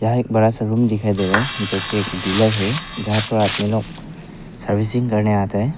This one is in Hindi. एक बड़ा सा रूम दिखाई दे रहा है जो कि एक डीलर है जहां पे आदमी लोग सर्विसिंग करने आते हैं।